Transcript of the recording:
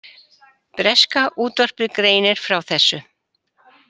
Breska útvarpið greinir frá þessu